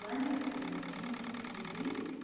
в плане приготовления еды